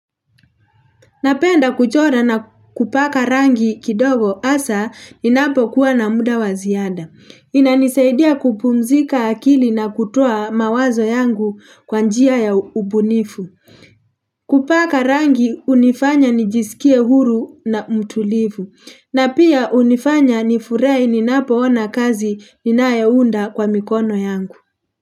Napenda kuchora na kupaka rangi kidogo asa inapo kuwa na muda wa ziada. Inanisaidia kupumzika akili na kutoa mawazo yangu kwa njia ya ubunifu. Kupaka rangi unifanya nijisikie huru na mtulifu. Na pia unifanya nifurahi ninapoona kazi ninayounda kwa mikono yangu.